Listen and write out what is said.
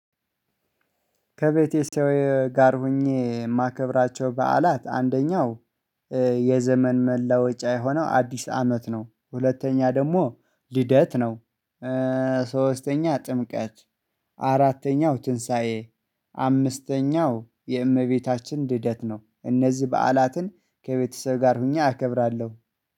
ከቤቴ ሰው ጋር ሆኜ የማከብራቸው በዓላት አንደኛው የዘመን መለወጫ የሆነው አዲስ አመት ነው። ሁለተኛ ደግሞ ልደት ነው። ሶስተኛ ጥምቀት አራተኛው ትንሳኤ አምስተኛው የእመቤታችን ልደት ነው። እነዚህ በዓላትን ከቤተሰብ ጋር ሆኜ አከብራለሁ።